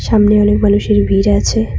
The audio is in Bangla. সামনে অনেক মানুষের ভিড় আছে।